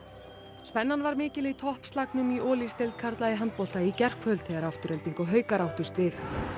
spennan var mikil í toppslagnum í karla í handbolta í gærkvöld þegar Afturelding og haukar áttust við